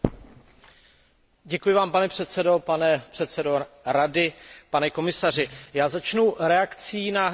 Pane předsedo, pane předsedo Rady, pane komisaři, já začnu reakcí na předchozí vystoupení.